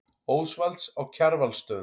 Ósvalds á Kjarvalsstöðum.